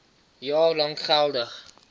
jaar lank geldig